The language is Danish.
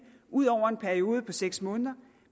ud over en periode på seks måneder